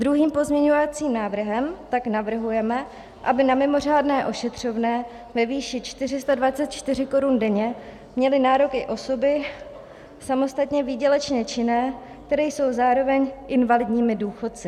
Druhým pozměňovacím návrhem tak navrhujeme, aby na mimořádné ošetřovné ve výši 424 korun denně měly nárok i osoby samostatně výdělečně činné, které jsou zároveň invalidními důchodci.